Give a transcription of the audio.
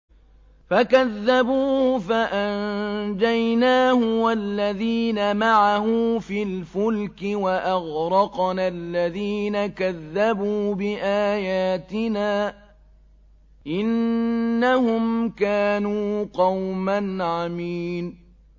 فَكَذَّبُوهُ فَأَنجَيْنَاهُ وَالَّذِينَ مَعَهُ فِي الْفُلْكِ وَأَغْرَقْنَا الَّذِينَ كَذَّبُوا بِآيَاتِنَا ۚ إِنَّهُمْ كَانُوا قَوْمًا عَمِينَ